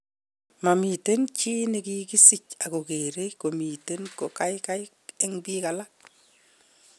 Mamiten chi nekikisich ak kogere komiten ko kaikai en pik alak